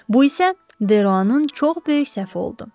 Bu isə Deruanın çox böyük səhv oldu.